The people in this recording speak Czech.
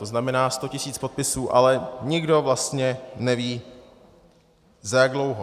To znamená, 100 tisíc podpisů, ale nikdo vlastně neví, za jak dlouho.